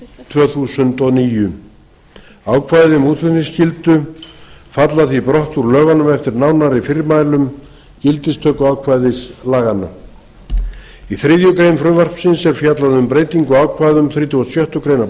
tvö þúsund og níu ákvæði um útflutningsskyldu falla því brott úr lögunum eftir nánari fyrirmælum gildistökuákvæðis laganna í þriðju greinar frumvarpsins er fjallað um breytingu á ákvæðum þrítugasta og sjöttu